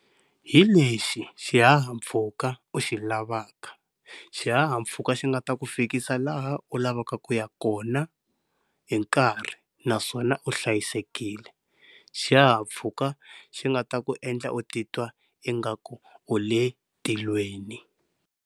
Hi lexi xihahampfhuka u xi lavaka xihahampfhuka xi nga ta ku fikisa laha u lavaka ku ya kona hi nkarhi naswona u hlayisekile. Xihahampfhuka xi nga ta ku endla u titwa ingaku u tilweni.